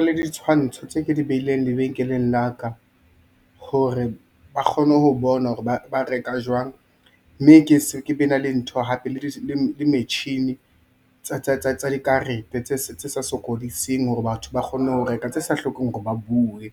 Le ditshwantsho tse ke di behileng lebenkeleng laka hore ba kgone ho bona hore ba reka jwang, mme ke be na le dintho hape le metjhini tsa dikarete tse sa sokodiseng hore batho ba kgone ho reka tse sa hlokeng hore ba buwe.